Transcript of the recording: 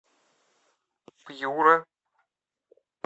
пьюра